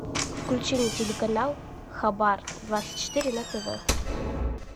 включи мне телеканал хабар двадцать четыре на тв